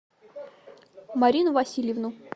марину васильевну